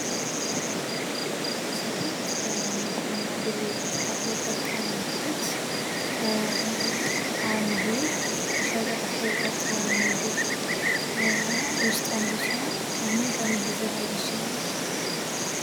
ዘይት ለንግድ እና ግብይት ከምንጠቀምበት አንዱ የሸቀጣሸቀጥ ወይም ምግብ ውስጥ አንዱ ሲሆን ከምን ከምን ሊዘጋጅ ይችላል?